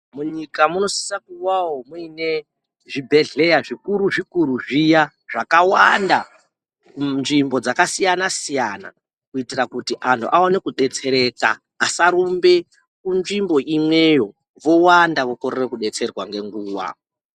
Munyika munosisa kuwawo muine zvibhedhleya zvikuru zvikuru zviya zvakawanda kunzvimbo dzakasiyana siyana, kuitira kuti anhu aone kudetsereka asarumbe kunzvimbo imweyo kuwanda wokorere kudetserwa ngenguva.